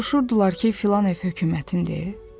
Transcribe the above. Soruşurdular ki, filan ev hökumətindir?